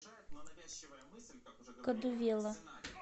кадувела